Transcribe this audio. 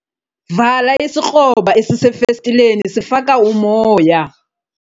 Vala isikroba esisefestileni sifaka umoya.